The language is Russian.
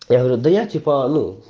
я говорю да я типа ну